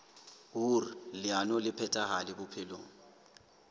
hoer leano le phethahale bophelong